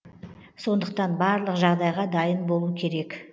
сондықтан барлық жағдайға дайын болу керек